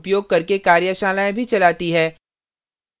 spoken tutorials का उपयोग करके कार्यशालाएँ भी चलाती है